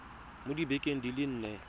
mo dibekeng di le nne